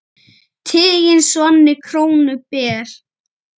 Tiginn svanni krónu ber.